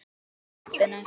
BLETTUR Í TEPPINU